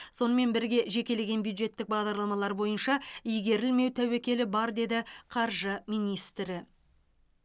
сонымен бірге жекелеген бюджеттік бағдарламалар бойынша игерілмеу тәуекелі бар деді қаржы министрі